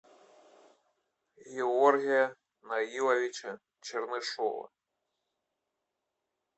георгия наиловича чернышева